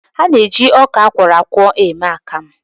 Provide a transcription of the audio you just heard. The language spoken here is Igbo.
A na-eji ọka akwọrọ akwọ eme akamụ